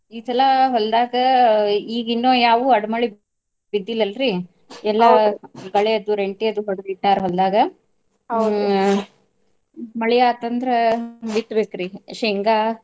ಈ ಸಲಾ ಹೊಲ್ದಾಗ ಈಗಿನ್ನ ಯಾವು ಅಡಮಳಿ ಬಿದ್ದಿಲ್ಲಲ್ರಿ ಗಳೆದು, ರೆಂಟಿ ಅದು ಹೊಡದ್ ಇಟ್ಟಾರ್ ಹೊಲ್ದಾಗ. ಮಳಿ ಆತ ಅಂದ್ರ ಬಿತ್ತಬೇಕ್ರಿ ಶೇಂಗಾ.